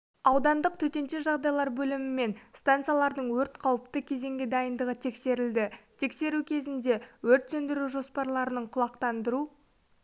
аудандық төтенше жағдайлар бөлімімен станциялардың өрт қауіпті кезеңге дайындығы тексерілді тексеру кезінде өрт сөндіру жоспарларының құлақтандыру